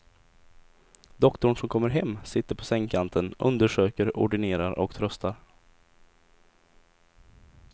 Doktorn som kommer hem, sitter på sängkanten, undersöker, ordinerar och tröstar.